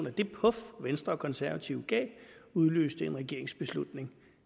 at det puf venstre og konservative gav udløste en regeringsbeslutning